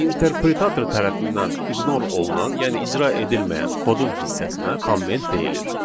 İnterpretator tərəfindən ignore olunan, yəni icra edilməyən kodun hissəsinə komment deyilir.